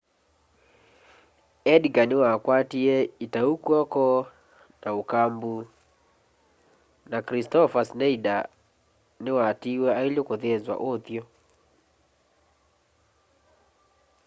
edgar niwakwatie itau kwoko na ukambu na kristoffer schneider ni watiiwe aile kuthĩnzwa uthyu